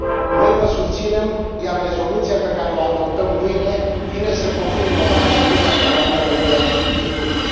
Noi vă susținem, iar rezoluția pe care o adoptăm mâine vine să confirme, o dată în plus, dacă mai era nevoie, acest lucru.